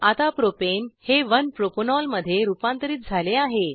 आता प्रोपेन हे 1 प्रोपॅनॉल मध्ये रुपांतरीत झाले आहे